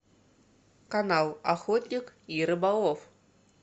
канал охотник и рыболов